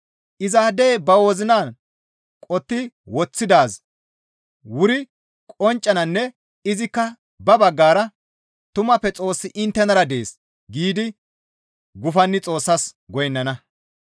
Izaadey ba wozinan qotti woththidaazi wuri qonccananne izikka ba baggara, «Tumappe Xoossi inttenara dees» giidi gufanni Xoossas goynnana.